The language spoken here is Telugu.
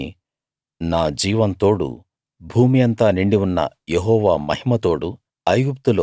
కాని నా జీవంతో తోడు భూమి అంతా నిండి ఉన్న యెహోవా మహిమ తోడు